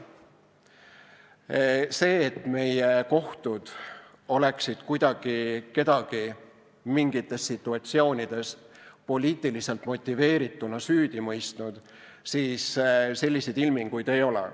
Selliseid ilminguid, et meie kohtud oleksid kuidagi kedagi mingites situatsioonides poliitiliselt motiveerituna süüdi mõistnud, ei ole.